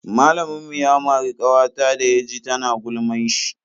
Malamin mu ya mari kawata da ya ji tana gulman shi.